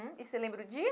E você lembra o dia?